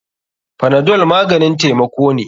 Panadol maganin taimako ne.